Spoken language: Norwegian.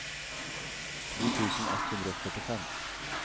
to tusen ett hundre og førtifem